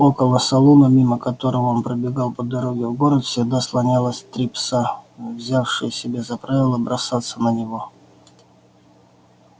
около салона мимо которого он пробегал по дороге в город всегда слонялось три пса взявшие себе за правило бросаться на него